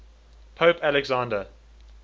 pope alexander